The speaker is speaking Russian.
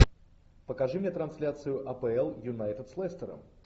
покажи мне трансляцию апл юнайтед с лестером